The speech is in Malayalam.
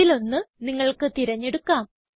ഇതിൽ ഒന്ന് നിങ്ങൾക്ക് തിരഞ്ഞെടുക്കാം